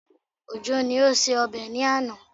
Òjó ni ó ṣe ọbẹ̀ ní àná